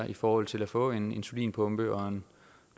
i forhold til at få en insulinpumpe og en